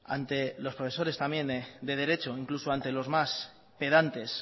ante los profesores también de derecho incluso ante los más pedantes